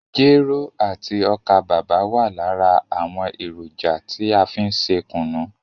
Jero àti ọ́kà bàbà wa lára àwọn èròjà tí a fí n ṣe kùnú.